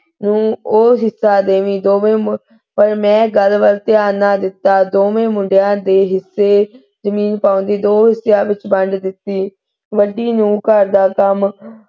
ਨੂੰ ਉਹ ਹਿੱਸਾ ਦੇਵੀ ਪਰ ਮੈਂ ਗਲ ਵਲ ਧਿਆਨ ਨਾ ਦਿਤਾ। ਦੋਵੇਂ ਮੁੰਡੀਆਂ ਦੇ ਹਿੱਸੇ ਜ਼ਮੀਨ ਦੋ ਹਿੱਸਿਆਂ ਵਿੱਚ ਵੰਡ ਦਿਤੀ। ਵੱਡੀ ਨੂੰ ਘਰ ਦਾ ਕਮ,